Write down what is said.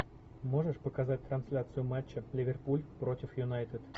можешь показать трансляцию матча ливерпуль против юнайтед